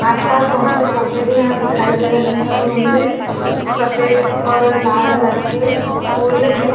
आसपास बहुत से पौधे भी यहाँ दिखाई दे रहे हैऔर उनमे सफ़ेद और लाल रंग के फूल है।